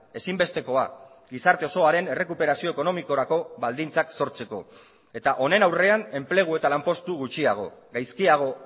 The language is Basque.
ezinbestekoa gizarte osoaren errekuperazio ekonomikorako baldintzak sortzeko eta honen aurrean enplegu eta lanpostu gutxiago gaizkiago